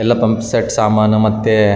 ಬಲ್ಬ್ಗಳು ಎಲ್ಲಾ ಇಲ್ಲಿ ಕಾಣಸ್ತಾ ಇವೆ .